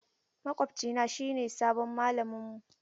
Makwabcina shine sabon mallaminmu.